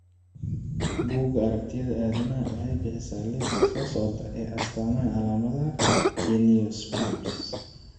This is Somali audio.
Bugga Aaragtiya Aadanaha waxay bixisaa liiska soo socda ee astamaha iyo calaamadaha Geniospasm.